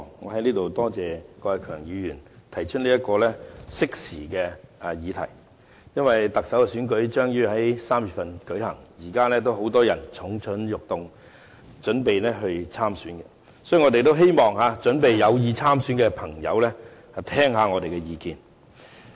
我在此多謝郭偉强議員提出這項適時的議題，因為特首選舉將於3月舉行，現時有很多人蠢蠢欲動，準備參選，所以我們希望有意參選的朋友聆聽我們的意見。